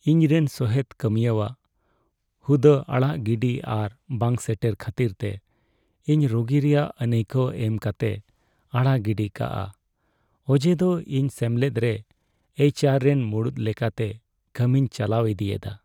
ᱤᱧ ᱨᱮᱱ ᱥᱚᱦᱮᱫ ᱠᱟᱹᱢᱤᱭᱟᱹᱣᱟᱜ ᱦᱩᱫᱟᱹ ᱟᱲᱟᱜ ᱜᱤᱰᱤ ᱟᱨ ᱵᱟᱝ ᱥᱮᱴᱮᱨ ᱠᱷᱟᱹᱛᱤᱨᱛᱮ ᱤᱧ ᱨᱟᱹᱜᱤ ᱨᱮᱭᱟᱜ ᱟᱹᱱᱟᱹᱭᱠᱟᱣ ᱮᱢ ᱠᱟᱛᱮᱭ ᱟᱲᱟᱜ ᱜᱤᱰᱤ ᱠᱟᱜᱼᱟ ᱚᱡᱮᱫᱚ ᱤᱧ ᱜᱮ ᱥᱮᱢᱞᱮᱫ ᱨᱮ ᱮᱭᱤᱪ ᱟᱨ ᱨᱮᱱ ᱢᱩᱲᱩᱫ ᱞᱮᱠᱟᱛᱮ ᱠᱟᱹᱢᱤᱧ ᱪᱟᱞᱟᱣ ᱤᱫᱤᱭᱮᱫᱟ ᱾